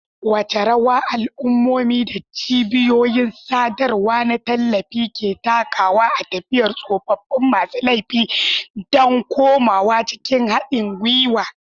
Wace rawa al'ummomi da cibiyoyin sadarwa na tallafi ke takawa a tafiyar tsoffin masu laifi don komawa cikin haɗin gwiwa?